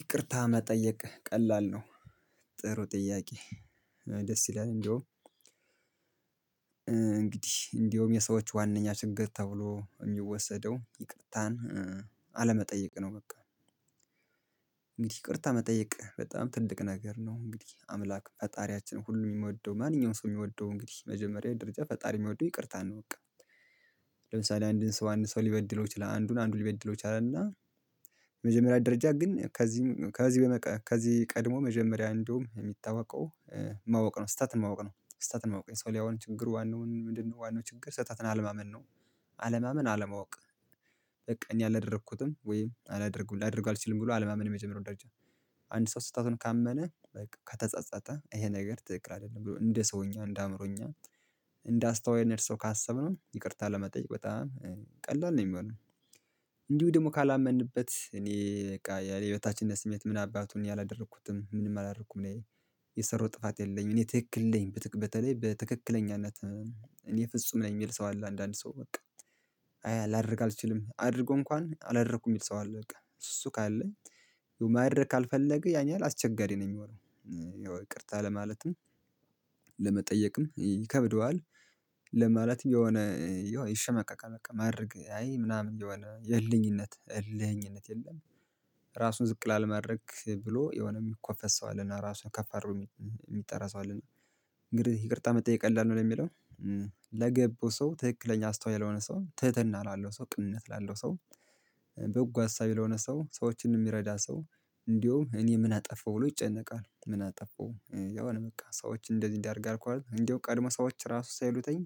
ይቅርታ መጠየቅ ቀላል ነው። ጥሩ ጥያቄ? ደስ ይላል እንደውም እንግዲህ እንደውም የሰዎች ዋናኛ ችግር ተብሎ የሚወሰደው ይቅርታን አለመጠየቅ ነው። በቃ እንግዲህ ይቅርታ መጠየቅ በጣም ትልቅ ነገር ነው። እንግዲህ አምላክ ፈጣሪያችን ሁሉንም የምወደው ማንኛውም ሰው የሚወደው እንግዲህ መጀመሪያ ደረጃ ፈጣሪ የሚወደው ይቅርታ ነው። በቃ አንድን ሰው አንድ ሰው ሊበድለው ይችላል አንዱን አንዱን ሊበድለው ይችላል። እና መጀመሪያ ደረጃ ግን ከዚህ ከዚህ ከዚህ ቀድሞ መጀመሪያ እንደውም የሚታወቀው ማወቅ ነው ስህተትን ማወቅ ነው ስህተትን ማወቅ ነው የሰው ያው ችግር ዋናውን ምንድነው ዋናው ችግር ሰህተትን አለማመን ነው። አለማመን አለማወቅ። እኛ አላደረኩትም ወይም አላደርግም አላደርግም ብሎ አለማመን የመጀመሪያው ደረጃ። አንድ ሰው ስህተቱን ካመነ በቃ ከተጸጸተ ይሄ ነገር ትክክል አይደለም ብሎ እንደ ሰውኛ እንደ አእምሮኛ እንደ አስተዋይ ካሰብነው ይቅርታ ለመጠየቅ በጣም ቀላል ነው። የሚሆነው እንዲሁ ደግሞ ካላመንንበት እኔ በቃ ያለ የህይወታችን ስሜት ምን አባቱን ያላደረኩትም ምንም አላረኩም እኔ የሰራው ጥፋት የለኝም እኔ ትክክል የለኝም በተቀበለኝ በትክክለኛነት እኔ ፍጹም ነኝ። የሚል ሰው አለ አንዳንድ ሰው በቃ አያ ላደርግ አልችልም አድርጎ እንኳን አላደረኩም የሚል ሰው አለ። በቃ እሱ ካለኝ የማያደርግ ካልፈለገ ያኛል አስቸጋሪ ነኝ የሚሆነው ይቅርታ ለማለትም ይከብደዋል። ለምን ማለት የሆነ ይሸመቀቀል በቃ ማድረግ አይ ምናምን የሆነ የእልህኝነት እልህኝነት የለም። ራሱን ዝቅ ላልመረክ ብሎ የሆነ የሚኮፈስ ሰው አለና ራሱን ከፍ አድርጎ የሚጠራ ሰው አለና እንግዲህ ይቅርታ መጠየቅ የለንም ነው የሚለው። ለገባው ሰው ትክክለኛ አስተዋይ ያልሆነ ሰው ትህትና ላለው ሰው ቅንነት ላለው ሰው በጎ አሳቢ ለሆነ ሰው ሰዎችን የሚረዳ ሰው እንዲሁ እኔ የምናጠፋው ብሎ ይጨነቃል። የምናጠፋው የሆነ በቃ ሰዎች እንደዚህ እንዲያደርግ አልኳት እንደው ቀድሞ ሰዎች ራሱ ሳይሉተኝ